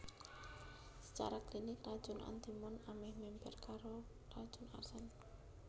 Sacara klinik racun antimon amèh mèmper karo racun arsen